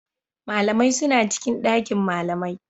Malamai suna cikin ɗakin malamai